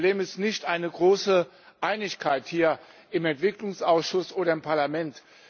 Das Problem ist nicht eine große Einigkeit hier im Entwicklungsausschuss oder im Parlament.